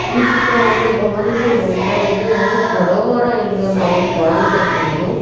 ಈ ಚಿತ್ರವನ್ನು ಗಮನಿಸಿ ನೋಡಿದರೆ ಇದು ಒಂದು ಸರೋವರ ಎಂದು ನಾವು ಭಾವಿಸಬಹುದು.